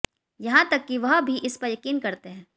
यहां तक कि वह भी इस पर यकीन करते हैं